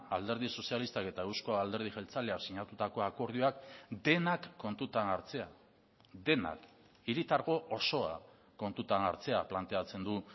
alderdi sozialistak eta euzko alderdi jeltzaleak sinatutako akordioak denak kontutan hartzea denak hiritargo osoa kontutan hartzea planteatzen du